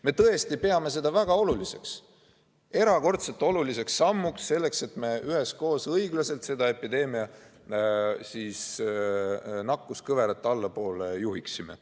Me tõesti peame seda väga oluliseks, erakordselt oluliseks sammuks, selleks et me üheskoos õiglaselt seda epideemia nakkuskõverat allapoole juhiksime.